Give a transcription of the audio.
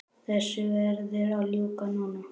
Þessu verður að ljúka núna